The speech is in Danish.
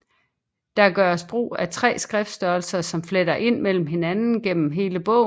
Der gøres brug af 3 skriftstørrelser som fletter ind mellem hinanden gennem hele bogen